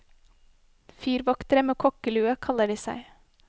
Fyrvoktere med kokkelue, kaller de seg.